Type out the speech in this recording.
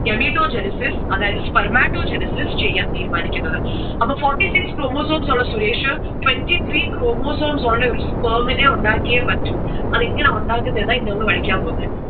gametogenesis അതായതു sprematogenesis ചെയ്യാൻ തീരുമാനിക്കുന്നത്. അപ്പോ forty six chromosmes ഉള്ള സുരേഷ് twenty three chromosomes ഉള്ള ഒരു sperm ഉണ്ടാക്കിയേ പറ്റൂ. അതെങ്ങനാ ഉണ്ടാക്കുന്നെ എന്നാണ് ഇനി നമ്മൾ pഠിക്കാൻ പോണെ.